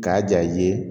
K'a ja i ye